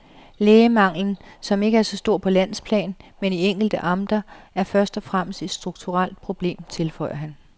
Lægemanglen, som ikke er stor på landsplan men i enkelte amter, er først og fremmest et strukturelt problem, tilføjer han.